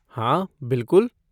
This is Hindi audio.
हाँ, बिलकुल।